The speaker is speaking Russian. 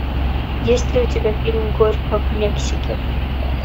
есть ли у тебя фильм горько в мексике